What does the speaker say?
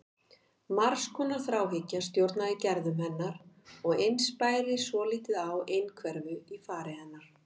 Margs konar þráhyggja stjórnaði gerðum hennar og eins bæri svolítið á einhverfu í fari hennar.